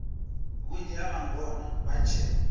vhunzhi ha vhangona vha tshe